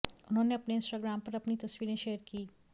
उन्होंने अपने इंस्टाग्राम पर अपनी तस्वीरें शेयर कीं